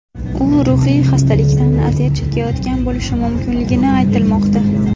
U ruhiy xastalikdan aziyat chekayotgan bo‘lishi mumkinligi aytilmoqda.